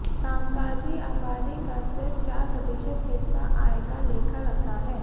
कामकाजी आबादी का सिर्फ चार प्रतिशत हिस्सा आय का लेखा रखता है